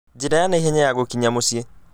njĩra ya naihenya ya gũkinya mũciĩ